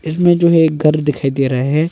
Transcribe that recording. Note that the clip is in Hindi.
में जो है एक घर दिखाई दे रहा है।